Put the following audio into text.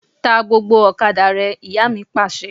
Ta gbógbó ọ̀kadà rẹ! Ìyá mi Pàṣẹ.